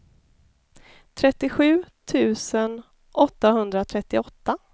trettiosju tusen åttahundratrettioåtta